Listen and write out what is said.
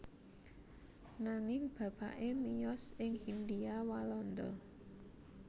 Nanging bapané miyos ing Hindhia Walanda